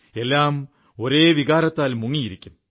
എല്ലാം ഒരേ വികാരത്തിൽ മുങ്ങിയിരിക്കും